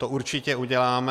To určitě uděláme.